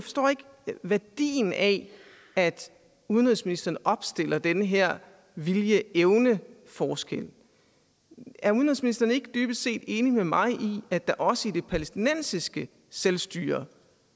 værdien af at udenrigsministeren opstiller den her viljeevne forskel er udenrigsministeren ikke dybest set enig med mig i at der også i det palæstinensiske selvstyre